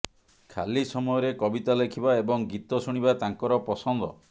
ଖାଲି ସମୟରେ କବିତା ଲେଖିବା ଏବଂ ଗୀତ ଶୁଣିବା ତାଙ୍କର ପସନ୍ଦ